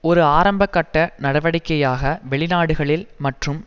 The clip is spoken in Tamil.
ஒரு ஆரம்ப கட்ட நடவடிக்கையாக வெளிநாடுகளில் மற்றும்